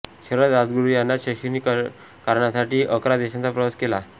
शरद राजगुरू यांना शैक्षणिक कारणांसाठी अकरा देशांचा प्रवास केला